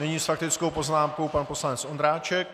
Nyní s faktickou poznámkou pan poslanec Ondráček.